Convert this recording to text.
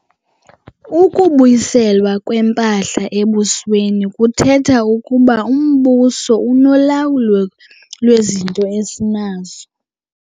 Ukubuyiselwa kwempahla embusweni kuthetha ukuba umbuso unolawulo lwezinto esinazo.